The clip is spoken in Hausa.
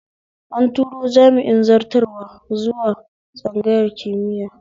An turo jami'in zartarwa zuwa tsangayar kimiya